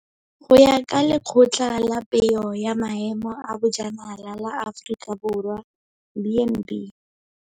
Go ya ka Lekgotla la Peo ya Maemo a Bojanala la Aforika Borwa, B and B.